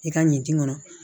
I ka ɲin kɔnɔ